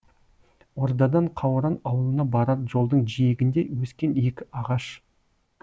ордадан қауран аулына барар жолдың жиегінде өскен екі ағаш